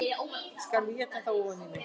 Skal þá éta það ofan í mig